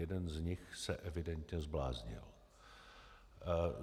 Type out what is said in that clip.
Jeden z nich se evidentně zbláznil.